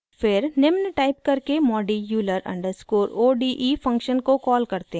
फिर निम्न टाइप करके modi euler underscore o d e function को कॉल करते हैं: